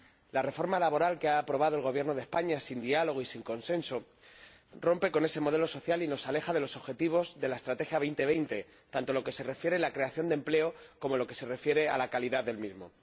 La reforma laboral que ha aprobado el Gobierno de España, sin diálogo y sin consenso, rompe con ese modelo social y nos aleja de los objetivos de la Estrategia Europa 2020, tanto en lo que se refiere a la creación de empleo como en lo que se refiere a la calidad del mismo.